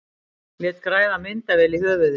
Lét græða myndavél í höfuðið